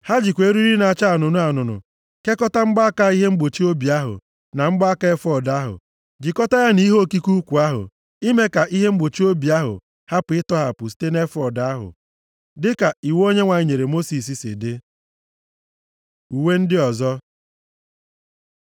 Ha jikwa eriri na-acha anụnụ kekọta mgbaaka ihe mgbochi obi ahụ na mgbaaka efọọd ahụ, jikọta ya na ihe okike ukwu ahụ, ime ka ihe mgbochi obi ahụ hapụ ịtọghapụ site nʼefọọd ahụ, dịka iwu Onyenwe anyị nyere Mosis si dị. Uwe ndị ọzọ